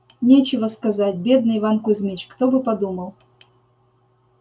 нечего сказать бедный иван кузмич кто бы подумал